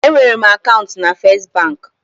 Enwere m akaụntụ na First banki.